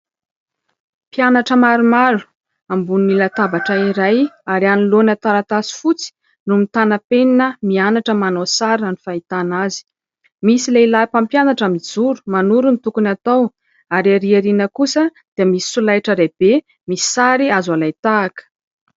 Mpianatra maromaro ambony latabatra iray ary anoloana taratasy fotsy no mitana penina mianatra manao sary raha ny fahitana azy. Misy lehilahy mpampianatra mijoro, manoro ny tokony ho atao ary ery aoriana kosa dia misy solaitra lehibe misy sary azo alain-tahaka.